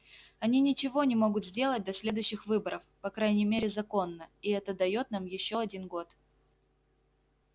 они ничего не могут сделать до следующих выборов по крайней мере законно и это даёт нам ещё один год